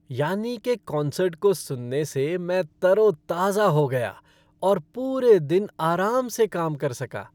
Yanni के concert को सुनने से मैं तरो ताज़ा हो गया और पूरे दिन आराम से काम कर सका।